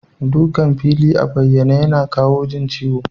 Dukan fili a bayyane yana kawa jin ciwo.